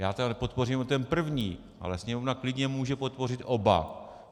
Já tedy podpořím jenom ten první, ale Sněmovna klidně může podpořit oba.